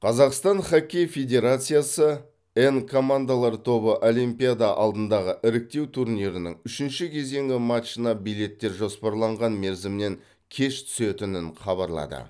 қазақстан хоккей федерациясы н командалар тобы олимпиада алдындағы іріктеу турнирінің үшінші кезеңі матчына билеттер жоспарланған мерзімнен кеш түсетінін хабарлады